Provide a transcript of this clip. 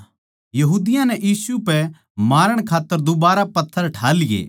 यहूदियाँ नै यीशु पै मारण खात्तर दुबारा पत्थर ठा लिये